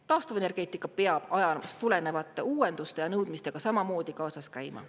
Taastuvenergeetika peab ajaloost tulenevate uuenduste ja nõudmistega samamoodi kaasas käima.